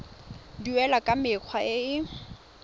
duelwa ka mekgwa e e